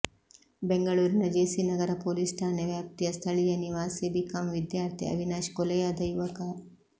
ಬೆಂಗಳೂರಿನ JC Nagar police ಠಾಣೆ ವ್ಯಾಪ್ತಿಯ ಸ್ಥಳೀಯ ನಿವಾಸಿ ಬಿಕಾಂ ವಿದ್ಯಾರ್ಥಿ ಅವಿನಾಶ್ ಕೊಲೆಯಾದ ಯುವಕ